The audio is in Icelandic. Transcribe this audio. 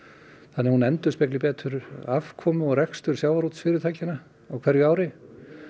þannig að hún endurspegli betur afkomu og rekstur sjávarútvegsfyrirtækjanna á hverju ári